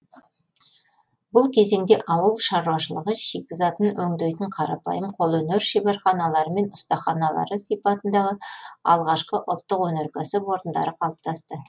бұл кезеңде ауыл шаруашылығы шикізатын өңдейтін қарапайым қолөнер шеберханалары мен ұстаханалары сипатындағы алғашқы ұлттық өнеркәсіп орындары қалыптасты